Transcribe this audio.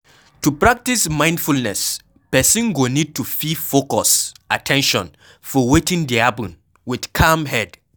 To pratice mindfulness person go need to fit focus at ten tion for wetin dey happen with calm head